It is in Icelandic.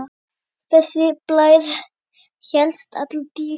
Þessi blær hélst alla tíð.